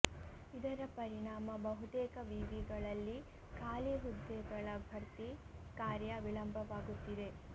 ಇದರ ಪರಿಣಾಮ ಬಹುತೇಕ ವಿವಿಗಳಲ್ಲಿ ಖಾಲಿ ಹುದ್ದೆಗಳ ಭರ್ತಿ ಕಾರ್ಯ ವಿಳಂಬವಾಗುತ್ತಿದೆ